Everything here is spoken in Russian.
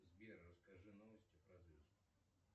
сбер расскажи новости про звезд